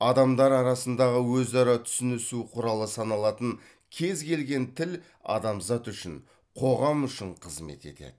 адамдар арасындағы өзара түсінісу құралы саналатын кез келген тіл адамзат үшін қоғам үшін қызмет етеді